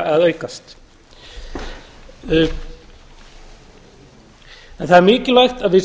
að aukast það er mikivægt að